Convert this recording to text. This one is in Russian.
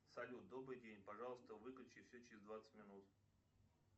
салют добрый день пожалуйста выключи все через двадцать минут